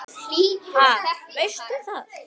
Ha, veistu það?